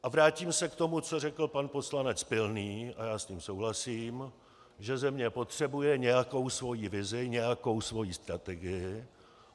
A vrátím se k tomu, co řekl pan poslanec Pilný, a já s tím souhlasím, že země potřebuje nějakou svoji vizi, nějakou svoji strategii.